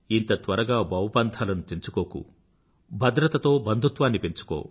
ఇంత త్వరగా భవబంధాలను తెంచుకోకు భద్రతతో బంధుత్వాన్ని పెంచుకో